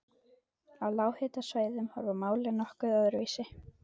Á lághitasvæðum horfa málin nokkuð öðruvísi við.